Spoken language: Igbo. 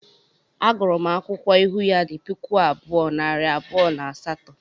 A gụrụ m akwụkwọ ịhụ ya di puku abụọ, nari abụọ na asaatọ